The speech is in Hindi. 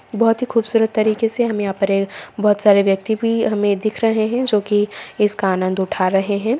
बहुत ही खूबसूरत तरीके से हम यहाँ पर अ बहुत सारी व्यक्ति भी हमे दिख रहे हैं जो की इसका आनंद उठा रहे हैं।